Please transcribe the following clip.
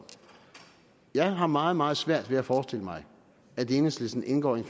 jeg har meget meget svært ved at forestille mig at enhedslisten indgår i